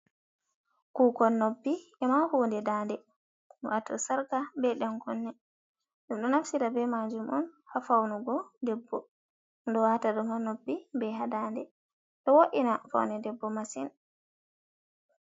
Kuukon noppi, e ma hunde daande. Waato sarka be ɗan kunne. Ɗum ɗo naftira be majum on haa faunugo debbo. Ɓe ɗo waata ɗum haa noppi, be haa dande. Ɗo wo’ina faune debbo masin.